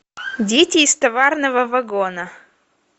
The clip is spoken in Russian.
дети из товарного вагона